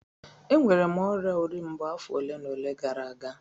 Enwere m ọrịa ori mbo afọ ole na ole gara aga